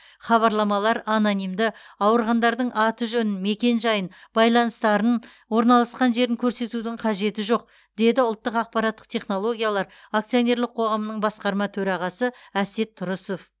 хабарламалар анонимді ауырғандардың аты жөнін мекен жайын байланыстарын орналасқан жерін көрсетудің қажеті жоқ деді ұлттық ақпараттық технологиялар акционерлік қоғамының басқарма төрағасы әсет тұрысов